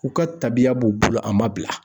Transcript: U ka tabiya b'u bolo a ma bila